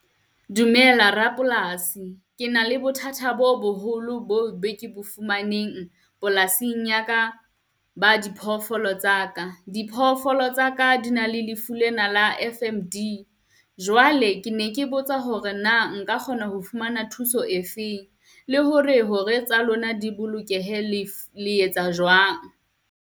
Dumela rapolasi, ke na le bothata bo boholo boo be ke bo fumaneng polasing ya ka ba di phoofolo tsaka. Diphoofolo tsaka di na le lefu lena la F_M_D jwale ke ne ke botsa hore na nka kgona ho fumana thuso e feng, le hore hore tsa lona di bolokehe, le etsa jwang?